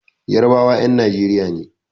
Yarbawa 'yan Nijeriya ne.